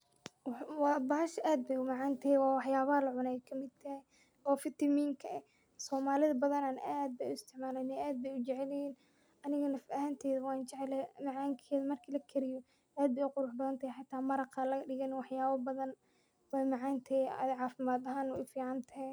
Bahasha aad baay umacan tahay, wax yaabaha lacuno baay kamid tahay, oo vitamiinka ah, somaalida badanaa aad baay u isticmaalana aad baay ujecelyihiin, aniga naf ahanteyda waan jeclahay, macankeeda marka lakariyo aad baay umacaan xitaa maraqa lagadigo waay macaan tahay cafimaadkana waay ufican tahay.